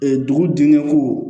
dugu dingɛ ko